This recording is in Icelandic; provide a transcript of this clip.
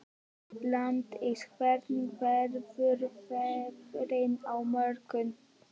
Ingdís, hvernig verður veðrið á morgun?